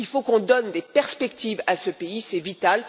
Il faut qu'on donne des perspectives à ce pays, c'est vital.